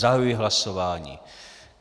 Zahajuji hlasování.